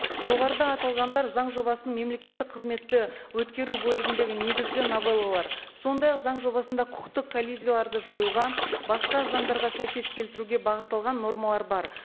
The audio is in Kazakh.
жоғарыда аталғандар заң жобасын мемлекеттік қызметті өткеру бөлігіндегі негізгі новеллалар сондай ақ заң жобасында құқықтық коллизияларды жоюға басқа заңдарға сәйкес келтіруге бағытталған нормалар бар